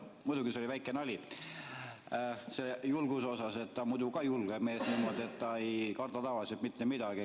Muidugi see oli väike nali, selle julguse osas, ta on muidu ka julge mees, nii et ta ei karda tavaliselt mitte midagi.